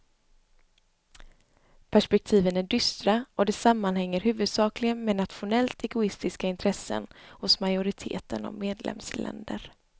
Perspektiven är dystra och det sammanhänger huvudsakligen med nationellt egoistiska intressen hos majoriteten av medlemsländer.